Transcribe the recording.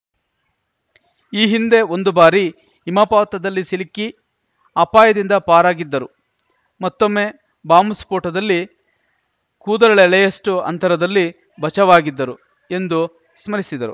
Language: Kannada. ಈ ಹಿಂದೆ ಒಂದು ಭಾರಿ ಹಿಮಪಾತದಲ್ಲಿ ಸಿಲುಕಿ ಅಪಾಯದಿಂದ ಪಾರಾಗಿದ್ದರು ಮತ್ತೊಮ್ಮೆ ಬಾಂಬ್‌ ಸ್ಫೋಟದಲ್ಲಿ ಕೂದಲೆಳೆಯಷ್ಟು ಅಂತರದಲ್ಲಿ ಬಚಾವಾಗಿದ್ದರು ಎಂದು ಸ್ಮರಿಸಿದರು